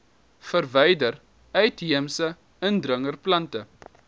verwyder uitheemse indringerplante